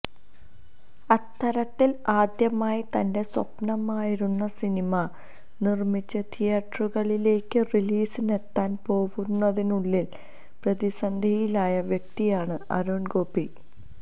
അത്തരത്തില് ആദ്യമായി തന്റെ സ്വപ്നമായിരുന്ന സിനിമ നിര്മ്മിച്ച് തിയറ്ററുകളിലേക്ക് റിലീസിനെത്താന് പോവുന്നതിനുള്ളില് പ്രതിസന്ധിയിലായ വ്യക്തിയാണ് അരുണ് ഗോപി